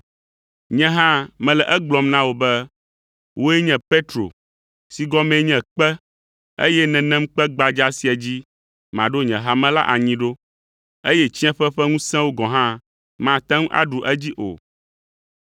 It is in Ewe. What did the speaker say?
Nye hã mele egblɔm na wò be, wòe nye Petro si gɔmee nye kpe, eye nenem kpe gbadza sia dzi maɖo nye hame la anyi ɖo, eye tsiẽƒe ƒe ŋusẽwo gɔ̃ hã mate ŋu aɖu edzi o.